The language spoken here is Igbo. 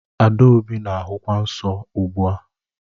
Adaobi na-ahụkwa nsọ ugbu a